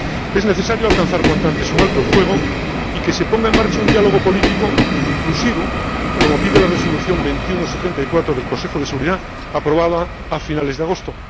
Es necesario alcanzar cuanto antes un alto el fuego y que se ponga en marcha un diálogo político inclusivo, como pide la Resolución 2174 del Consejo de Seguridad, aprobada a finales de agosto.